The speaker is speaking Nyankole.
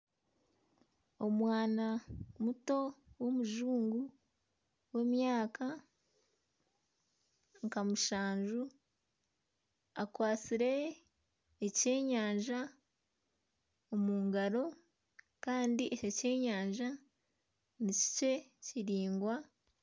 Omwaana muto w'omujungu w'emyaka nka mushanju akwatsire ekyenyanja omu ngaro kandi eki ekyenyanja ni kikye kiraingwa.